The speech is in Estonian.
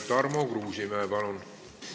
Tarmo Kruusimäe, palun!